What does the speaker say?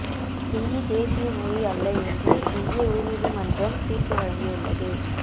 இந்தி தேசிய மொழி அல்ல என்று இந்திய உயர்நீதி மன்றம் தீர்ப்பு வழங்கி உள்ளது